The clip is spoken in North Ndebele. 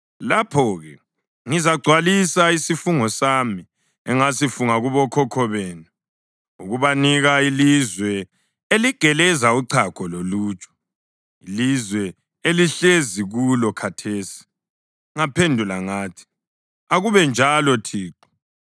Lapho-ke ngizagcwalisa isifungo sami engasifunga kubokhokho benu, ukubanika ilizwe eligeleza uchago loluju,’ ilizwe elihlezi kulo khathesi.” Ngaphendula ngathi, “Akube njalo Thixo.”